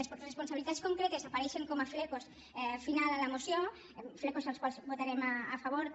les responsabilitats concretes apareixen com a serrells al final de la moció serrells els quals votarem a favor també